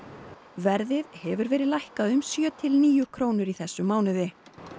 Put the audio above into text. verðið hefur verið lækkað um sjö til níu krónur í þessum mánuði